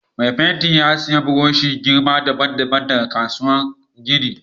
Mai fentin ya siya buroshi girma dabban-dabban daga kasuwan kayan gini.